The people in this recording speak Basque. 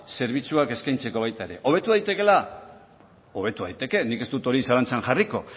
zerbitzuak eskaintzeko baita ere hobetu daitekeela hobetu daiteke nik ez dut hori zalantzan jarriko